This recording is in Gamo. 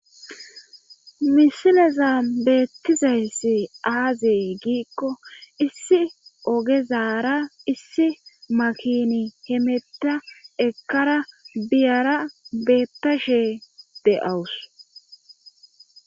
Misileza beettizayssi aazey giikko issi ogezaara issi makini hemetta ekkara biyara beettashe de7awus.